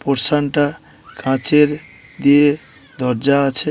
Portion -টা কাঁচের দিয়ে দরজা আছে।